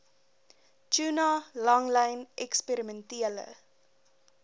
tuna langlyn eksperimentele